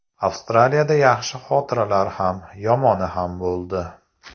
Avstraliyada yaxshi xotiralar ham, yomoni ham bo‘ldi.